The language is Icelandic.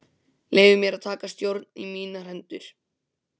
Leyfði mér að taka stjórnina í mínar hendur.